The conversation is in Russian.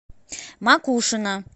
макушино